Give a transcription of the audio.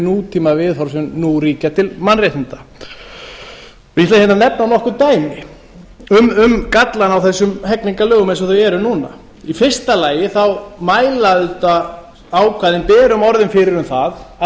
sem nú ríkja til mannréttinda ég ætla að nefna nokkur dæmi um gallana á þessum hegningarlögum eins og þau eru núna í fyrsta lagi mæla auðvitað ákvæðin berum orðum fyrir um það að